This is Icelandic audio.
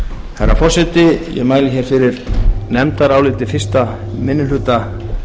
herra forseti ég mæli fyrir nefndaráliti fyrsti minni hluta